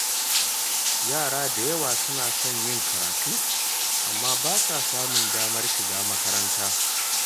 Yara da yawa suna son yin karatu amma ba sa samun damar shiga makaranta.